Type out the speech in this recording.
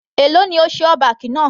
Èló ni o ṣe all back náà.